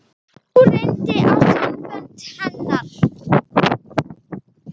Nú reyndi á sambönd hennar.